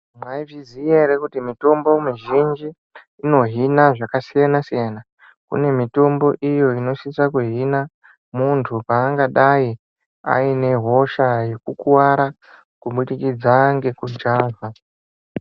Maizviziya ere kuti mitombo mizhinji inohina zvakasiyana-siyana. Kune mitombo iyo inosisa kuhina muntu paangadai aine hosha yekukuvara kubudikidza ngekujavha.